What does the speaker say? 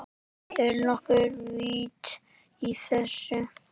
Er nokkuð vit í þessu?